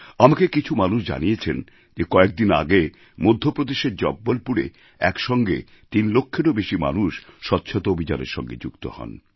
আমাকে কিছু মানুষ জানিয়েছেন যে কয়েকদিন আগে মধ্যপ্রদেশের জব্বলপুরে একসঙ্গে তিন লক্ষেরও বেশি মানুষ স্বচ্ছতা অভিযানের সঙ্গে যুক্ত হন